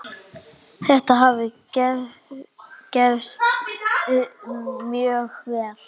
Þetta hafi gefist mjög vel.